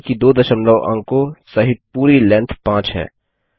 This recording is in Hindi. ध्यान दें कि दो दशमलव अंको सहित पूरी लैन्थ 5 है